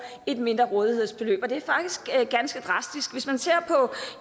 et mindre rådighedsbeløb og det er faktisk ganske drastisk hvis man ser på